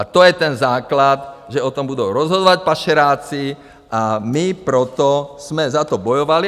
A to je ten základ, že o tom budou rozhodovat pašeráci, a my proto jsme za to bojovali.